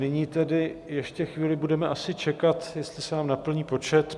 Nyní tedy ještě chvíli budeme asi čekat, jestli se nám naplní počet.